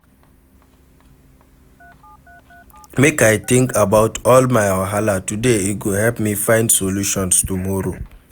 Make I tink about all my wahala today e go help me find solutions tomorrow.